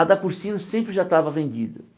A da Cursinho sempre já estava vendida.